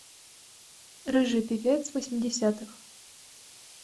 рыжий певец восьмидесятых